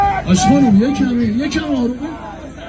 Yavaş, xanım, bir kəmi, bir kəmi aram.